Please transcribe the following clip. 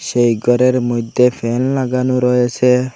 সেই গরের মইধ্যে ফ্যান লাগানো রয়েসে।